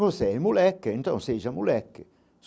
Você é moleque, então seja moleque.